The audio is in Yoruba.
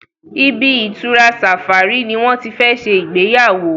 ibi-itura safari ní wón tí fè ṣe Ìgbéyàwó